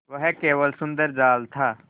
वह केवल सुंदर जाल था